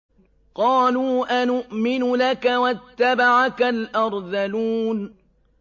۞ قَالُوا أَنُؤْمِنُ لَكَ وَاتَّبَعَكَ الْأَرْذَلُونَ